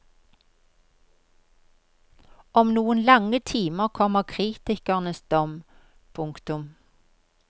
Om noen lange timer kommer kritikernes dom. punktum